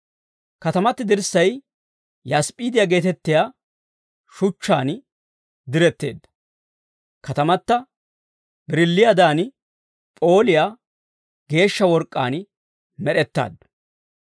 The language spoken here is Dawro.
Katamati dirssay yasp'p'iidiyaa geetettiyaa shuchchaan diretteedda. Katamata birilliiyaadan p'ooliyaa geeshsha work'k'aan med'ettaaddu.